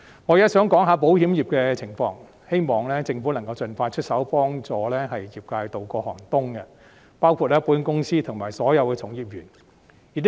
我現在想談談保險業的情況，希望政府能夠盡快出手協助業界渡過寒冬，包括保險公司和所有從業員。